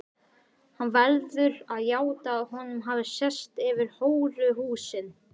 Hann verður að játa að honum hafi sést yfir hóruhúsin.